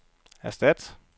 erstat